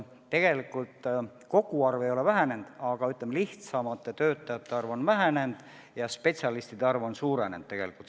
Tegelikult koguarv ei ole vähenenud, aga, ütleme, lihtsamate töötajate arv on vähenenud ja spetsialistide arv on suurenenud.